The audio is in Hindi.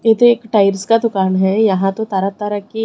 ये तो एक टाइल्स का दुकान है यहां तो तरह तरह की--